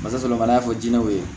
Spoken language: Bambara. Basalama y'a fɔ diinɛ ye